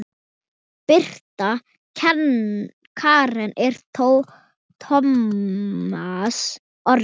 Birta Karen og Tómas Orri.